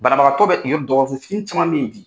Banabagatɔ bɛ dɔgɔso fitini caman bɛ ye bi.